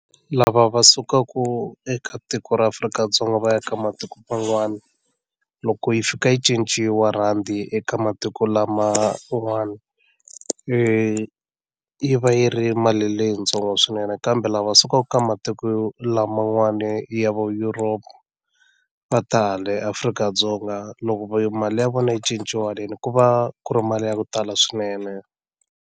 Lava va sukaku eka tiko ra Afrika-Dzonga va ya ka matiko man'wana loko yi fika yi cinciwa rhandi eka matiko laman'wana yi va yi ri mali leyitsongo swinene kambe lava sukaka ka matiko laman'wana ya va Europe va ta hale Afrika-Dzonga loko mali ya vona yi cinciwa haleni ku va ku ri mali ya ku tala swinene.